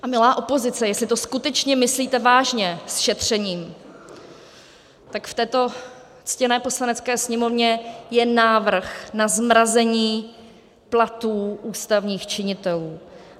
A milá opozice, jestli to skutečně myslíte vážně s šetřením, tak v této ctěné Poslanecké sněmovně je návrh na zmrazení platů ústavních činitelů.